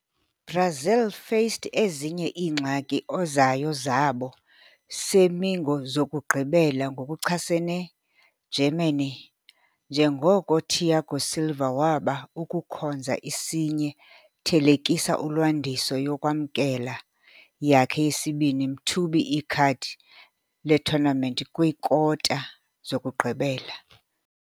Brazil faced ezinye iingxaki ozayo zabo semi-zokugqibela ngokuchasene Germany, njengoko Thiago Silva waba ukukhonza isinye-thelekisa ulwandiso yokwamkela yakhe yesibini mthubi ikhadi le-tournament kwi-kwikota-zokugqibela.